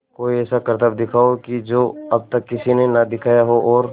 कोई ऐसा करतब दिखाओ कि जो अब तक किसी ने ना दिखाया हो और